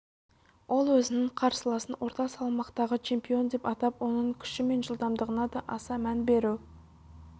ол өзінің қарсыласын орта салмақтағы чемпион деп атап оның күші мен жылдамдығына да аса мән беру